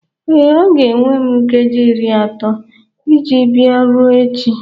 Ee, ọ ga-ewe m nkeji iri atọ iji bia ruo echi.